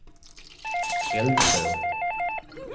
Hälsö